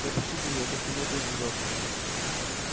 напишите мне как ему ту живётся